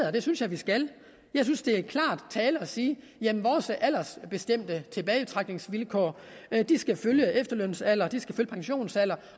at det synes jeg vi skal jeg synes det er klar tale at sige at vores aldersbestemte tilbagetrækningsvilkår skal følge efterlønsalder pensionsalder